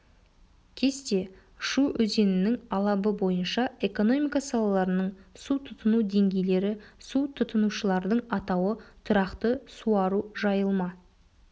кесте шу өзенінің алабы бойынша экономика салаларының су тұтыну деңгейлері су тұтынушылардың атауы тұрақты суару жайылма